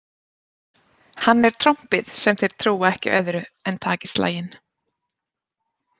Hann er trompið sem þeir trúa ekki öðru en taki slaginn.